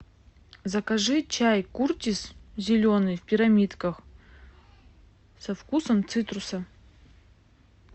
закажи чай куртис зеленый в пирамидках со вкусом цитруса